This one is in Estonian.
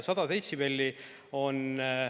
100 detsibelli on …